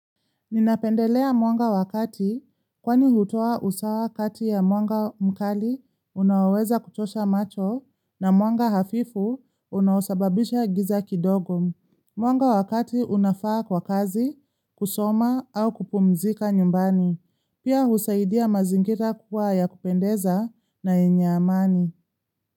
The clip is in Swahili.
Ninapendelea mwanga wakati kwani hutoa usawa wakati ya mwanga mkali unaweza kuchosha macho na mwanga hafifu unausababisha giza kidogo. Mwanga wakati unafaa kwa kazi, kusoma au kupumzika nyumbani. Pia husaidia mazingira kuwa ya kupendeza na yenye amani.